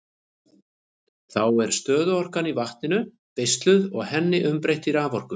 Þá er stöðuorkan í vatninu beisluð og henni umbreytt í raforku.